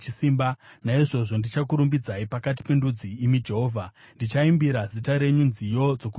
Naizvozvo ndichakurumbidzai pakati pendudzi, imi Jehovha; ndichaimbira zita renyu nziyo dzokurumbidza.